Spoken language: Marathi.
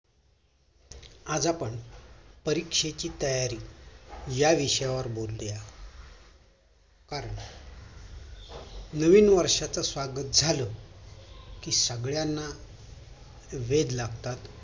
आज आपण परीक्षेची तयारी ह्या विषयावर बोलूया आज नवीन वर्षाच्या स्वागत झालं कि सगळ्यांना वेद लागतात ते